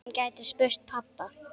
Hann gæti spurt pabba.